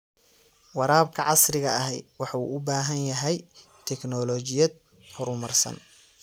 Waraabka casriga ahi wuxuu u baahan yahay tignoolajiyad horumarsan.